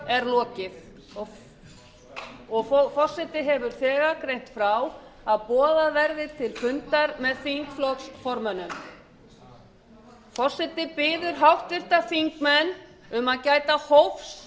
atkvæðagreiðslu er lokið forseti hefur þegar greint frá að boðað verði til fundar með þingflokksformönnum forseti biður háttvirtir þingmenn um að gæta hófs